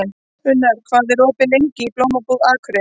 Unnar, hvað er opið lengi í Blómabúð Akureyrar?